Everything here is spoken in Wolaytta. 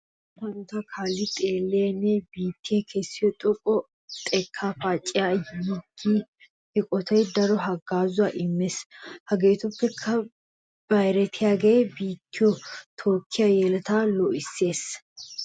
Luxettaa hanotaa kaalli xeelliya nne biittiya kessiyo xoqqa xekkaa paaceta yiggiya eqotay daro haggaazuwa immees. Hegeetuppe bayiratiyagee biittiyo tookkiya yeletaa loohissiyogaa.